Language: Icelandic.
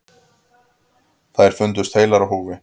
Þær fundust heilar á húfi.